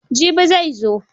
Jibi zai zo.